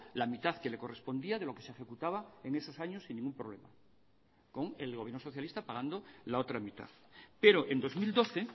la mitad que le correspondía de lo que se ejecutaba en esos años sin ningún problema con el gobierno socialista pagando la otra mitad pero en dos mil doce